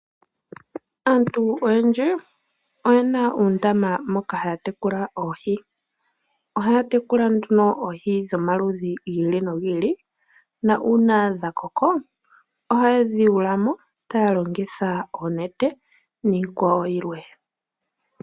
Aantu oyendji oyena oondama moka hakutekula oohi oha tekula onduno oohi dhomaludhi gi ili nogi ili na uuna dhakoko ohaye dhiyulamo taalongitha oonete niikwawo yi ili